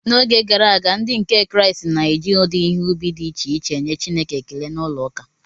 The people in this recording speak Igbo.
N’oge gara aga, Ndị nke Kraịst na-eji ụdị ihe ubi dị iche iche enye Chineke ekele n’ụlọụka